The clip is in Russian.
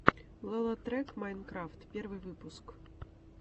лолотрек майнкрафт первый выпуск